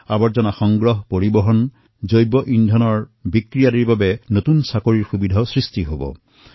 বৰ্জ্য সংগ্ৰহ পৰিবহণ বায়গেছৰ বিক্ৰী আদিৰ বাবে চাকৰিৰ সুবিধা বৃদ্ধি হব